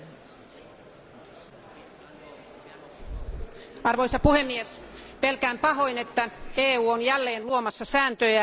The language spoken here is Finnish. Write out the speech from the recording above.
Arvoisa puhemies, pelkään pahoin, että EU on jälleen luomassa sääntöjä, joita kellään ei ole edes tarkoitus noudattaa.